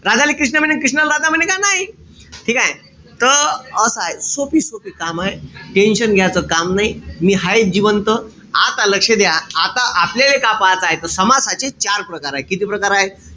राधाले कृष्ण म्हणे अन कृष्णाले राधा म्हणे का? नाई. ठीकेय? त असय. सोपी-सोपी कामय. Tention घ्याच काम नाई. मी हायेच जिवंत. आता लक्ष द्या. आता आपल्याला काय पहाच, समासाचे चार प्रकारे. किती प्रकार हाये?